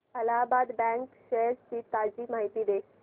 Allahabad bank shares ची ताजी माहिती दे